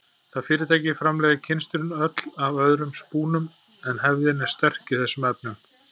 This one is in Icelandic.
Það fyrirtæki framleiðir kynstrin öll af öðrum spúnum en hefðin er sterk í þessum efnum.